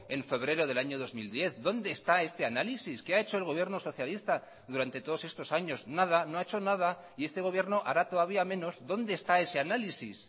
en febrero del año dos mil diez dónde está este análisis qué ha hecho el gobierno socialista durante todos estos años nada no ha hecho nada y este gobierno hará todavía menos dónde está ese análisis